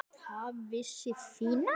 Það vissi Fía.